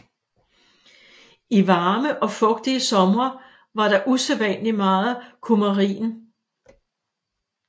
I varme og fugtige somre var der usædvanligt meget kumarin